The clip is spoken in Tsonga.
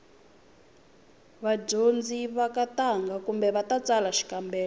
vadyondzi va ka ntangha khume va ta tsala xikambelo